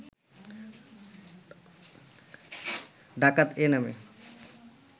ডাকত এ নামে